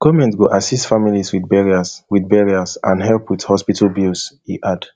goment go assist families wit burials wit burials and help wit hospital bills e add